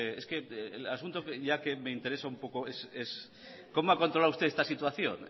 este es que el asunto ya que me interesa un poco es cómo ha controlado usted esta situación